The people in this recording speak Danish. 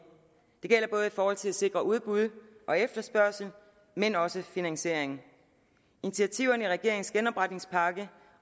og til at sikre udbud og efterspørgsel men også finansiering initiativerne i regeringens genopretningspakke